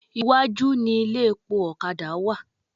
Iwájú ni ilé epo ọ̀kadà wà.